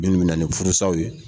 Minnu bɛ na ni furusaw ye